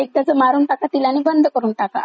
असं वाचलंय मी दोन तीन वेळेस.